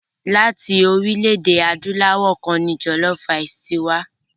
Láti orílẹ̀-èdè Adúláwọ̀ kan ni jọ̀lọfú raìsì ti wá.